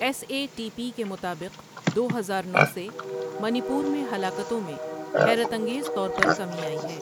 S A T P کے مطابق، دو ہزارنو سے منی پور میں ہلاکتوں میں حیرت انگیز طور پر کمی آئی ہے۔